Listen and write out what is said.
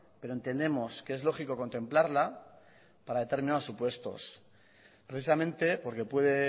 pero entendemos que es lógico contemplarla para determinados supuestos precisamente porque puede